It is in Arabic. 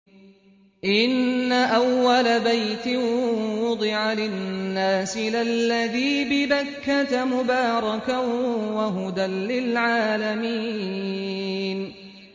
إِنَّ أَوَّلَ بَيْتٍ وُضِعَ لِلنَّاسِ لَلَّذِي بِبَكَّةَ مُبَارَكًا وَهُدًى لِّلْعَالَمِينَ